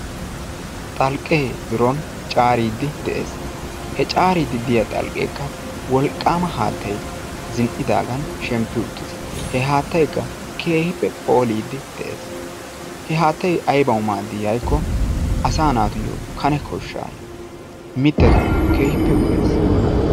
xalqqee biron caaridi de"ees. he caariddi diyaa xalqqeekka wolqqama haattay zin"idaagaan shemppi uttis. he haattaykka keehippe phoolidi de'ees. he haattay aybaa maaddii giikko? asaa naatuyo kane koshshaa mittatuyoo keehippe go'ees.